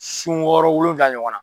Sun wɔɔrɔ wolofila ɲɔgɔn na.